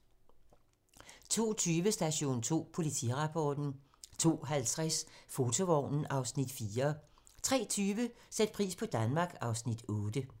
02:20: Station 2: Politirapporten 02:50: Fotovognen (Afs. 4) 03:20: Sæt pris på Danmark (Afs. 8)